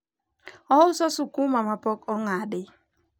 ouso sukuma ma pok ong'adi